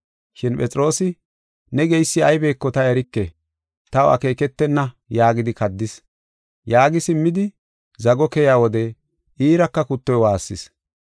Shin Phexroosi, “Ne geysi aybeko ta erike, taw akeeketena” yaagidi kaddis. Yaagi simmidi, zago keyiya wode iiraka kuttoy waassis.